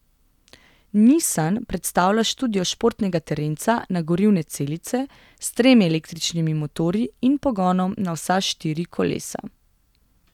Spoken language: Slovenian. Nissan predstavlja študijo športnega terenca na gorivne celice, s tremi električnimi motorji in pogonom na vsa štiri kolesa.